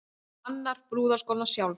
Hannar brúðarskóna sjálf